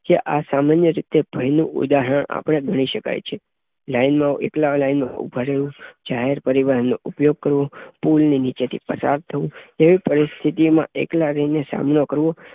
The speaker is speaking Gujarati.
જે આ સામાન્ય રીતે ભય નું ઉદાહરણ અપડે ભણી શકાય છે. લાઈનમાં એકલા લાઈનમાં ઊભા રહેવું, જાહેર પરિવહનનો ઉપયોગ કરવો, પુલ ની નીચેથી પસાર થવું તેવી પરિસ્થિતિમાં એકલા રહીને સામનો કરવો